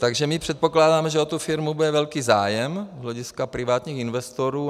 Takže my předpokládáme, že o tu firmu bude velký zájem z hlediska privátních investorů.